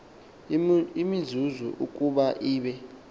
imizuzu ukuba ibe